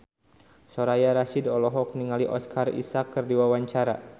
Soraya Rasyid olohok ningali Oscar Isaac keur diwawancara